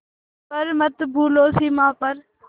पर मत भूलो सीमा पर